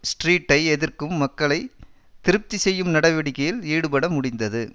ஸ்ட்ரீட்டை எதிர்க்கும் மக்களை திருப்தி செய்யும் நடவடிக்கையில் ஈடுபட முடிந்தது